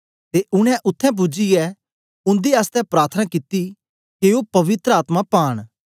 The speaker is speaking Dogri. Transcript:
ते उनै उत्थें पूजियै उंदे आसतै प्रार्थना कित्ती के ओ पवित्र आत्मा पांन